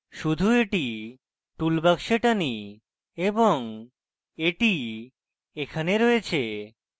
শুধু এটি টুলবাক্সে টানি এবং এটি এখানে রয়েছে